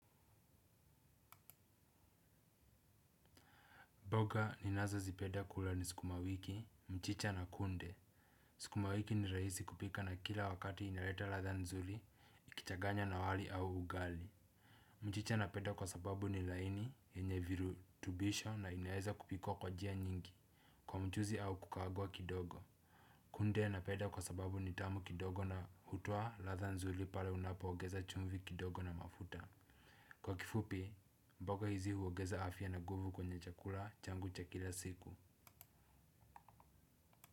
Mboga ninazozipenda kula ni sukumawiki, mchicha na kunde. Sukumawiki ni rahisi kupika na kila wakati inaleta ladha nzuri, ukichaganya na wali au ugali. Mchicha napenda kwasababu ni laini, yenye virutubisho na inaweza kupikwa kwa njia nyingi, kwa mchuzi au kukaangwa kidogo. Kunde napenda kwasababu ni tamu kidogo na hutoa ladha nzuri pale unapoongeza chumvi kidogo na mafuta. Kwa kifupi, mboga hizi huongeza afya na nguvu kwenye chakula changu cha kila siku.